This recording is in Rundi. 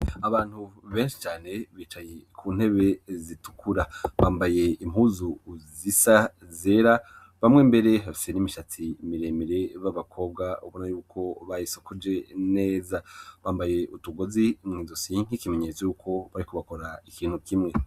Abantu benshi cane bicaye ku ntebe zitukura, bambaye impuzu zisa zera bamwe mbere hafise n'imishatsi miremire b'abakobwa bona yuko bahisokoje neza. Bambaye utugozi muidusi nk'ikimenyetso y'uko bari kubakora ikintu kimwe.